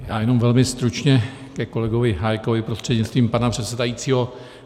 Já jenom velmi stručně ke kolegovi Hájkovi prostřednictvím pana předsedajícího.